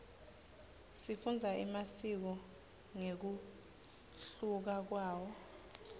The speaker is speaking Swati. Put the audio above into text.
sifundza emasiko ngekunluka kwawo